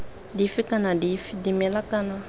dife kana dife dimela kana